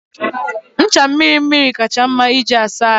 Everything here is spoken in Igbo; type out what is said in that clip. Ncha mmiri mmiri kacha mma iji asa ahụ.